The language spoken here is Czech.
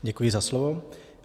Děkuji za slovo.